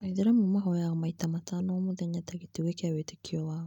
Aĩithĩramu mahoyaga maita matano o mũthenya ta gĩtugĩ kĩa wĩtĩkio wao.